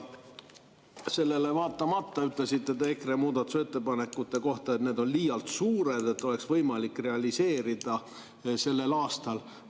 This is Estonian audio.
Sellele vaatamata te ütlesite EKRE muudatusettepanekute kohta, et need on liialt suured, et neid oleks võimalik realiseerida sellel aastal.